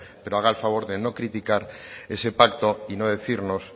pero haga el favor de no criticar ese pacto y no decirnos